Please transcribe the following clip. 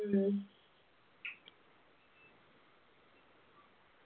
ഉം